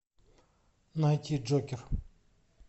найти джокер